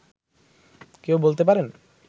কেউ বলতে পারেন